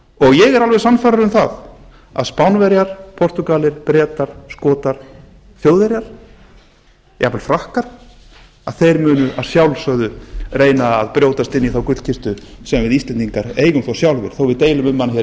ég er alveg sannfærður um það að spánverjar portúgalar bretar skotar þjóðverjar jafnvel frakkar þeir munu að sjálfsögðu reyna að brjótast inn í þá gullkistu sem við íslendingar eigum þó sjálfir þó við deilum um hana hér